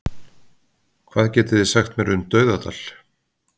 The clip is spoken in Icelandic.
Hvað getið þið sagt mér um Dauðadal?